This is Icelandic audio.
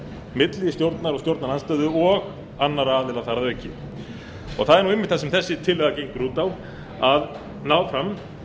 milli stjórnar og stjórnarandstöðu og annarra aðila þar að auki það er einmitt það sem þessi tillaga gengur út á að ná fram